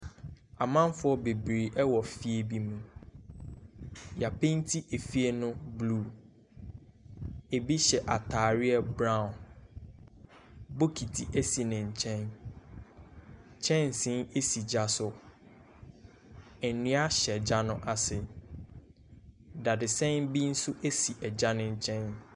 Amamfoɔ bebree wɔ fie bi mu, yɛapeenti fie no blue, bi hyɛ ataare brown, bokiti si ne nkyɛn, kyɛnse si gya so, nnua hyɛ gya no ase, dadesɛn bi nso si gya ne nkyɛn.